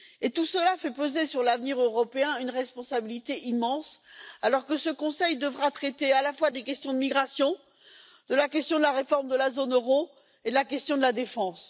Tout cela fait peser sur l'avenir européen une responsabilité immense alors que ce Conseil devra traiter à la fois des questions de migration, de la question de la réforme de la zone euro et de la question de la défense.